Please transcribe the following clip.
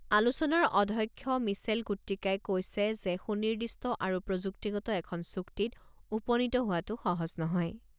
আলোচনাৰ অধ্যক্ষ মিছেল কুট্টিকাই কৈছে যে সুনিৰ্দিষ্ট আৰু প্ৰযুক্তিগত এখন চুক্তিত উপনীত হোৱাটো সহজ নহয়।